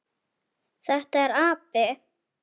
Þetta er api.